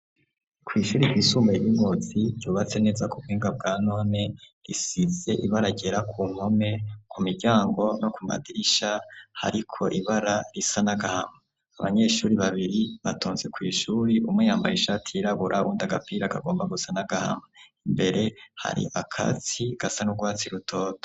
Kw'ishure ry'isumbuye ry'ingozi ryubatse neza k'ubuhinga bwa none risize ibara ryera kumpome k'umiryango no kumadirisha Hariko ibara risa nagahama abanyeshure babiri batonze kw'ishure umwe yambaye ishati yirabura uwundi agapira gasa nagahama imbere hari akatsi gasa n'ugwatsi rutoto.